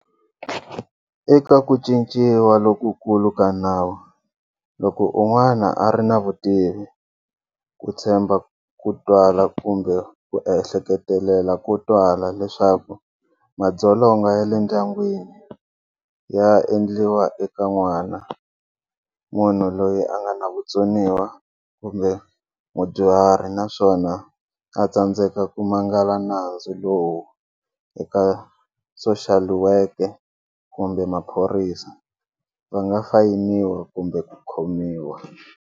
Eka ku cinciwa lokukulu ka nawu, loko un'wana a ri na vutivi, ku tshemba ko twala kumbe ku ehleketelela ko twala leswaku madzolonga ya le ndyangwini ya endliwa eka n'wana, munhu loyi a nga na vutsoniwa kumbe mudyuhari naswona a tsandzeka ku mangala nandzu lowu eka soxaliweke kumbe maphorisa va nga fayiniwa kumbe ku khomiwa.